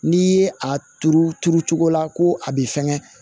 N'i ye a turu turu cogo la ko a b'i fɛngɛ